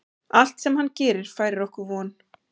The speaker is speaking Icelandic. Allt sem hann gerir færir okkur von.